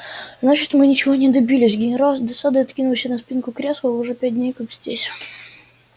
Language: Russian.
значит мы ничего не добились генерал с досадой откинулся на спинку кресла вы уже пять дней как здесь